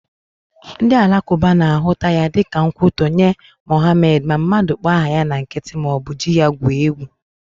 Ndị alakụba na-ahụta ya dịka nkwutọ nye Mohamed ma mmadụ kpọọ aha ya na nkịtị maọbụ ji ya gwuo egwu